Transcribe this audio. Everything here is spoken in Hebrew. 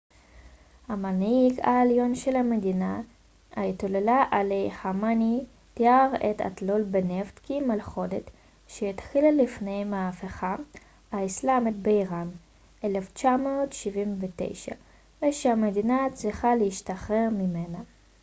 המנהיג העליון של המדינה אייתוללה עלי ח'אמנאי תיאר את התלות בנפט כ מלכודת שהתחילה לפני המהפכה האיסלאמית באיראן ב-1979 ושהמדינה צריכה להשתחרר ממנה